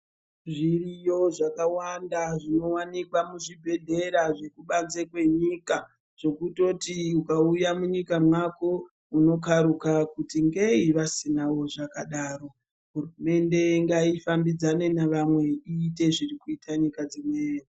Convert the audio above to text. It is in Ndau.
Zviriyo zvakawanda zvino wanikwa mu zvibhedhlera zveku banze kwenyika zvekutoti ukauya mu nyika mwako unokaruka kuti ngeyi vasinawo zvakadaro hurumende ngayi fambidzane ne vamwe iyite zviri kuita nyika dzimweni .